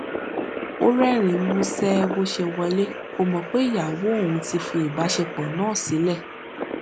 ó rérìnín músé bó ṣe wọlé kò mò pé ìyàwó òun ti fi ìbáṣepọ náà sílè